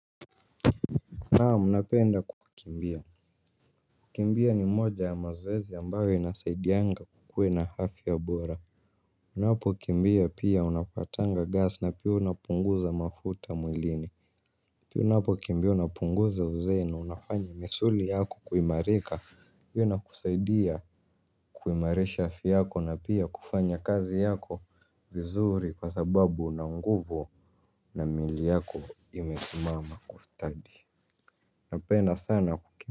Naam napenda kukimbia kukimbia ni moja ya mazoezi ambayo inasaidianga ukuwe na afya bora unapokimbia pia unapatanga gas na pia unapunguza mafuta mwilini pio unapokimbia unapunguza uzee na unafanya misuli yako kuimarika hiyo inakusaidia kuimarisha afya yako na pia kufanya kazi yako vizuri kwa sababu una nguvu na mwili yako imesimama kustadi unapenda sana kukimbia.